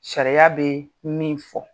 Sariya bɛ min fɔ.